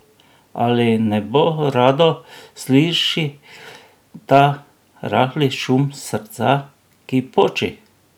Ali nebo rado sliši ta rahli šum srca, ki poči?